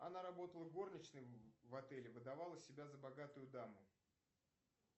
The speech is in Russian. она работала горничной в отеле выдавала себя за богатую даму